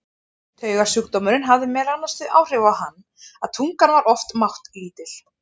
Taugasjúkdómurinn hafði meðal annars þau áhrif á hann að tungan var oft máttlítil.